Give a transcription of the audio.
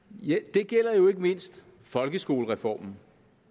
det gælder jo ikke mindst folkeskolereformen